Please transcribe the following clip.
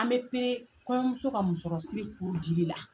An be peree kɔɲɔmuso ka musɔrɔsiri dili la.